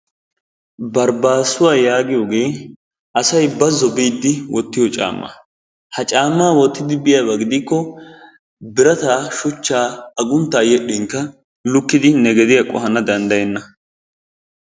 Barbaasuwa yaagiyoogee asay bazzo biidi wottiyo caamaa. Ha caammaa wottidi biyaaba gidikko birataa, shuchchaa, aguntaa yedhinkka lukkidi ne geddiya qohana danddayenna.